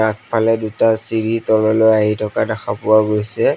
আগফালে দুটা চিৰি তললৈ আহি থকা দেখা পোৱা গৈছে।